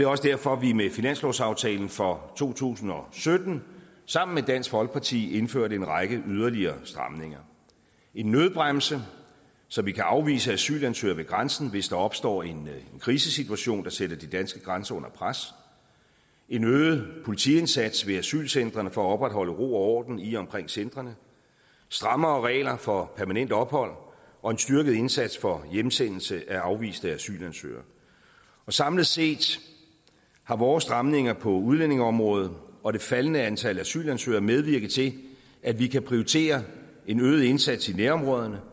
også derfor vi med finanslovsaftalen for to tusind og sytten sammen med dansk folkeparti indførte en række yderligere stramninger en nødbremse så vi kan afvise asylansøgere ved grænsen hvis der opstår en krisesituation der sætter de danske grænser under pres en øget politiindsats ved asylcentrene for at opretholde ro og orden i og omkring centrene strammere regler for permanent ophold og en styrket indsats for hjemsendelse af afviste asylansøgere samlet set har vores stramninger på udlændingeområdet og det faldende antal asylansøgere medvirket til at vi kan prioritere en øget indsats i nærområderne